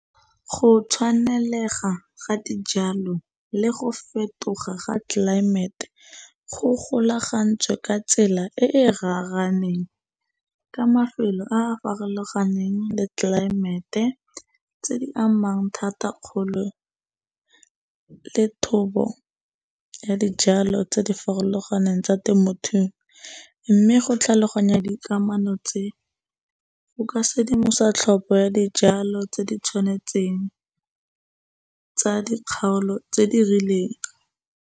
Go tshwanelega ga dijalo le go fetoga ga tlelaemete go golagantswe ka tsela e e raraneng, ka mafelo a a farologaneng le tlelaemete tse di amang thata kgolo le thobo ya dijalo tse di farologaneng tsa temothuo. Mme go tlhaloganya dikamano tse, o ka sedimosa tlhopho ya dijalo tse di tshwanetseng tsa di kgaolo tse di rileng.